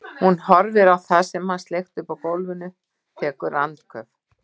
Hún horfir á það sem hann sleikti upp úr gólfinu, tekur andköf.